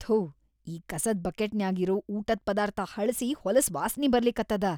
ಥೂ ಈ ಕಸದ್‌ ಬಕೆಟ್‌ನ್ಯಾಗ್‌ ಇರೋ ಊಟದ್‌ ಪದಾರ್ಥ ಹಳ್ಸಿ ಹೊಲಸ್‌ ವಾಸ್ನಿ ಬರ್ಲಿಕತ್ತದ.